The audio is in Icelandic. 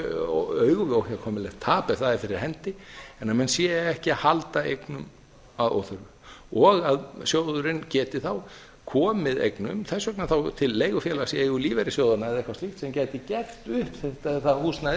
augu við óhjákvæmilegt tap ef það er fyrir hendi en að menn séu ekki að halda eignum að óþörfu og að sjóðurinn geti þá komið eignum þess vegna þá til leigufélags í eigu lífeyrissjóðanna eða eitthvað slíkt sem gæti gert upp það húsnæði